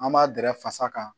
An b'a dɛrɛ fasa kan